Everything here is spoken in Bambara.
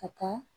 Ka taa